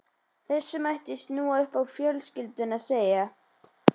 Þessu mætti snúa upp á fjölskylduna og segja